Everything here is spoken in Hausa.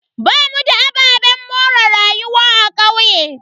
Bamu da ababen more rayuwa a kauye.